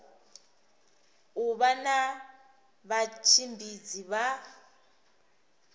u vha na vhatshimbidzi vha